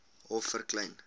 hof vir klein